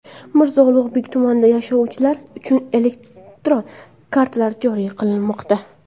Mirzo Ulug‘bek tumanida yashovchilar uchun elektron kartalar joriy qilinmoqda.